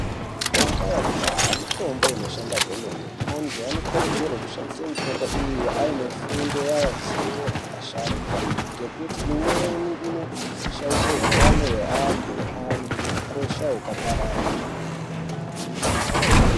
Mitombo yakudhaya mitombo inoshanda kwemene. Antu anokurudzirwa kushandise mitombo iyi ainefundo yavo zivo asharukwa ngekuti imweni inoshaishe hutano hweantu ,antu hukosha hukapararire.